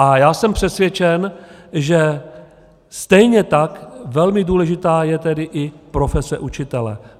A já jsem přesvědčen, že stejně tak velmi důležitá je tedy i profese učitele.